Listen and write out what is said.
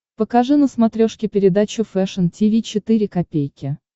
покажи на смотрешке передачу фэшн ти ви четыре ка